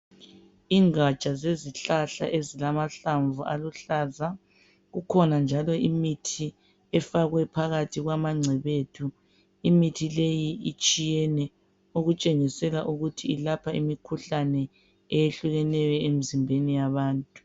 Ingatsha zezihlahla ezilamahlamvu aluhlaza kukhona njalo imithi efakwe phakathi kwama ngcebethu imithi leyi itshiyene okutshengisela ukuthi ilapha imikhuhlane eyehlukeneyo emizimbeni yabantu.